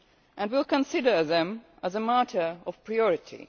this context and will consider them as a matter of